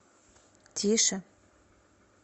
тише